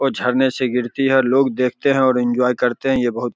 ओ झरने से गिरती है लोग देखते हैं और इन्जॉय करते हैं ये बहोत --